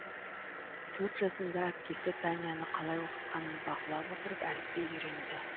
төрт жасында әпкесі таняны қалай оқытқанын бақылап отырып әліпби үйренді